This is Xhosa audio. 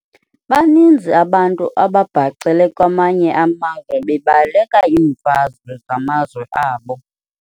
Baninzi abantu ababhacele kwamanye amazwe bebaleka iimfazwe zasemazweni abo.